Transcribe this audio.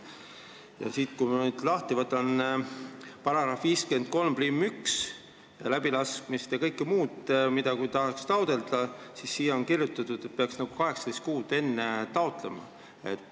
Ja siis, kui ma võtan lahti § 531, läbilaskevõime taotlemine, siis siia on kirjutatud, et peaks taotlema 18 kuud enne.